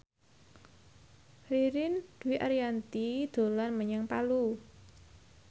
Ririn Dwi Ariyanti dolan menyang Palu